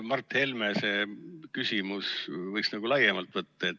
Mart Helme küsimust võiks nagu laiemalt võtta.